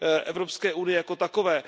Evropské unii jako takové.